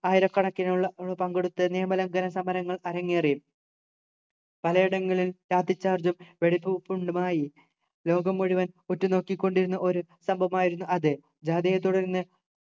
ആയിരക്കണക്കിനുള്ള ആള് പങ്കെടുത്ത നിയമലംഘന സമരങ്ങൾ അരങ്ങേറി പലയിടങ്ങളിൽ വ്യാപിച്ചു ലോകം മുഴുവൻ ഉറ്റുനോക്കിക്കൊണ്ടിരുന്ന ഒരു സംഭവമായിരുന്നു അത് ജാധയെത്തുടർന്ന്